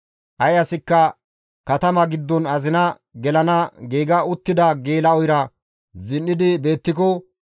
Ay asikka katama giddon azina gelana giiga uttida geela7oyra zin7idi beettiko,